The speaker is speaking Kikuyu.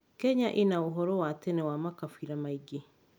Kenya ĩna ũhoro wa tene wa makabira maingĩ.